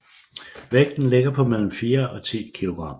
Vægten ligger på mellem 4 og 10 kilogram